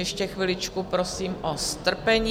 Ještě chviličku prosím o strpení.